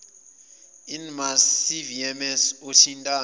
inmarsat cvms othintana